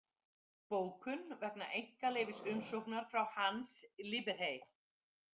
Bókun vegna einkaleyfisumsóknar frá Hans Liperhey.